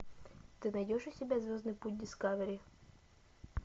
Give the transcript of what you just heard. ты найдешь у себя звездный путь дискавери